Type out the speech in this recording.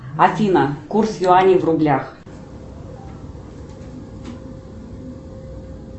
афина курс юаней в рублях